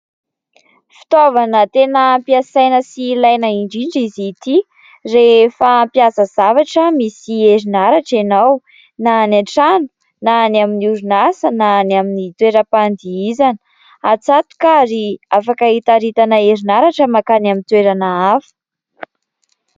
Fitaovana tena ampiasaina sy ilaina indrindra izy ity rehefa hampiasa zavatra misy herinaratra ianao. Na any an-trano na ny amin' ny orinasa na ny amin' ny toeram-pandihizana. Atsatoka ary afaka hitaritana herinaratra mankany amin' ny toerana avo.